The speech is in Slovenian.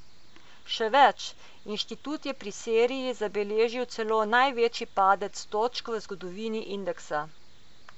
Še več, inštitut je pri Siriji zabeležil celo največji padec točk v zgodovini indeksa.